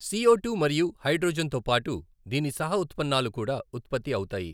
CO two మరియు hydrogen తోపాటు దీని సహ ఉత్పన్నాలు కూడా ఉత్పత్తి అవుతాయి.